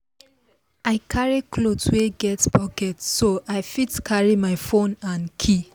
i carry cloth wey get pocket so i fit carry my phone and key